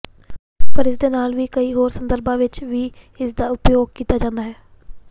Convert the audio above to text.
ਪਰ ਇਹਦੇ ਨਾਲ ਹੀ ਕਈ ਹੋਰ ਸੰਦਰਭਾਂ ਵਿੱਚ ਵੀ ਇਸਦਾ ਉਪਯੋਗ ਕੀਤਾ ਜਾਂਦਾ ਹੈ